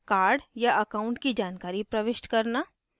card या account की जानकारी प्रविष्ट करना